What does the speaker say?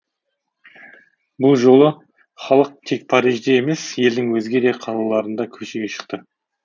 бұл жолы халық тек парижде емес елдің өзге де қалаларында көшеге шықты